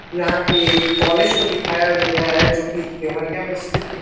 यहाँ पे कॉलेज को दिखाया गया हे जो कि देवरिया में स्थित --